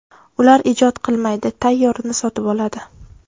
Ular ijod qilmaydi, tayyorini sotib oladi.